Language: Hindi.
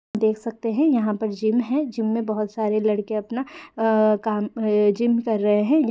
देख सकते हैं यहाँ पर जिम है जिम में बहुत सारे लड़के अपना काम अ जिम कर रहे हैं।